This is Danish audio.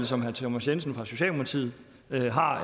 som herre thomas jensen fra socialdemokratiet har